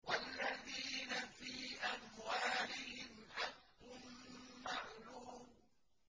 وَالَّذِينَ فِي أَمْوَالِهِمْ حَقٌّ مَّعْلُومٌ